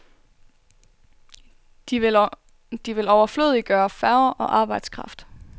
De vil overflødiggøre færger og arbejdskraft.